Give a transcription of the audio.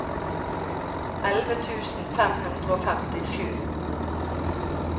elleve tusen fem hundre og femtisju